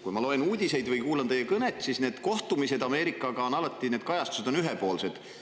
Kui ma loen uudiseid või kuulan teie kõnest kohtumiste kohta Ameerikaga, siis, et nende kajastused on alati ühepoolsed.